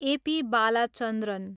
A. P. Balachandran